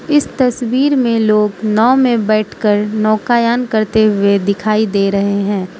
इस तस्वीर में लोग नाव में बैठ कर नौकायन करते हुए दिखाई दे रहे हैं।